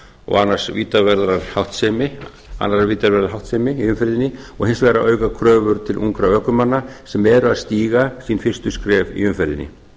og annarrar vítaverðrar háttsemi í umferðinni og hins vegar að auka kröfur til ungra ökumanna sem eru að stíga sín fyrstu skref í umferðinni